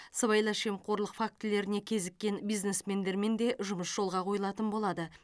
сыбайлас жемқорлық фактілеріне кезіккен бизнесмендермен де жұмыс жолға қойылатын болады